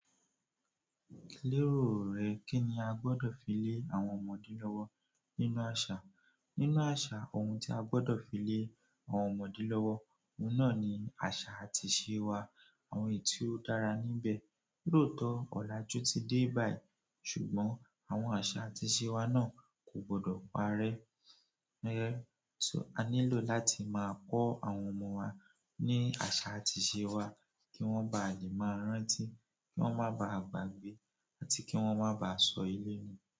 Lérò rẹ kí ni a gbọ́dọ̀ fi lé àwọn ọmọdé lọ́wọ́ nínú àṣà? Nínú àṣà ohun tí a gbọ́dọ̀ fi lé àwọn ọmọdé lọ́wọ́, òun náà ni àṣà àti ìṣe wa, àwọn ètio dára níbẹ̀. Lótọ̀ ọ̀la ju ti dé báyìí ṣùgbọ́n àwọn àṣà àti ìṣe wa náà kò gbọ́dọ̀ parẹ́. Níyẹ́, so a nílò láti máa kọ́ àwọn ọmọ wa ní àṣà àti ìṣe wa kí wọ́n ba lè máa rántí, kí wọ́n má bá à gbagbe àti kí wọ́n má bá sọ ilé nu.